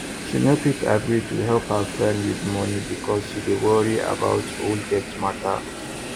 she no quick agree to help her friend with money because she dey worry about old debt matter